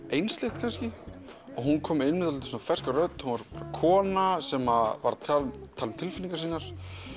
einsleitt kannski hún kom með ferska rödd kona sem var að tala um tilfinningar sínar